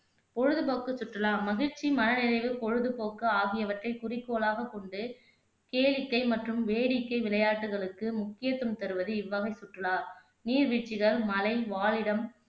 பொழுதுபோக்கு சுற்றுலா மகிழ்ச்சி, மனநிறைவு, பொழுதுபோக்கு ஆகியவற்றை குறிக்கோளாக கொண்டு கேளிக்கை மற்றும் வேடிக்கை விளையாட்டுகளுக்கு முக்கியத்துவம் தருவது இவ்வகை சுற்றுலா நீர் வீழ்ச்சிகள், மலை வாழிடம்